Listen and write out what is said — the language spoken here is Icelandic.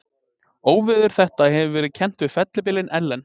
Óveður þetta hefur verið kennt við fellibylinn Ellen.